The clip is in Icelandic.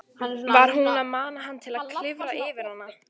Var hún að mana hann til að klifra yfir hana?